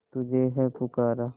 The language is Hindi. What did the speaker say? तुझे है पुकारा